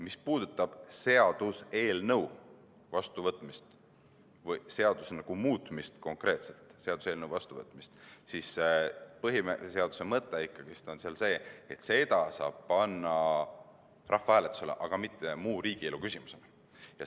Mis puudutab seaduseelnõu vastuvõtmist või seaduse muutmist, siis põhiseaduse mõte on ikkagi see, et seda saab panna rahvahääletusele, aga mitte muu riigielu küsimusena.